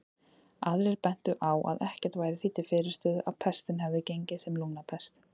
Aðrir bentu á að ekkert væri því til fyrirstöðu að pestin hefði gengið sem lungnapest.